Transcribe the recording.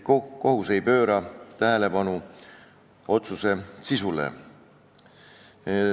Kohus ei pööra tähelepanu otsuse sisule.